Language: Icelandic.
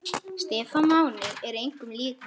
Stefán Máni er engum líkur.